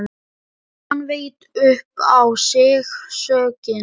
Hann veit upp á sig sökina.